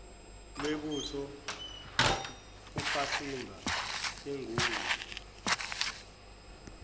lwebutho ufasimba engungwe